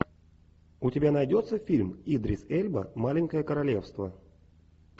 у тебя найдется фильм идрис эльба маленькое королевство